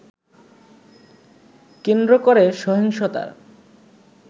কেন্দ্র করে সহিংসতার